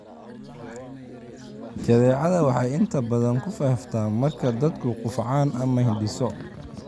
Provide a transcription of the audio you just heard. Jadeecada waxay inta badan ku faaftaa marka dadku qufacaan ama hindhiso.